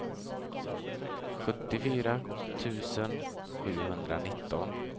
sjuttiofyra tusen sjuhundranitton